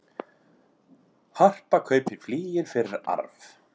Harpa kaupir flygil fyrir arf